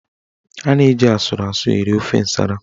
A na-eji ji asụrụ asụ eri ofe nsara.